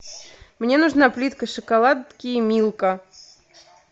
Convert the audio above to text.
мне нужна плитка шоколадки милка